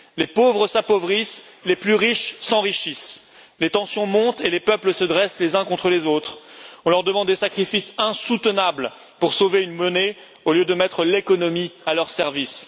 Les pauvres s'appauvrissent, les plus riches s'enrichissent, les tensions montent et les peuples se dressent les uns contre les autres. On leur demande des sacrifices insoutenables pour sauver une monnaie, au lieu de mettre l'économie à leur service.